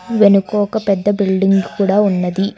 వెనుక ఒక పెద్ద బిల్డింగ్ కూడ ఉన్నది.